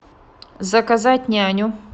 заказать няню